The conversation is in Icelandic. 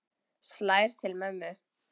Slær til mömmu.